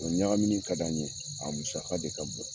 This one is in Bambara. O ɲagamini ka d' an ye a musaka de ka bon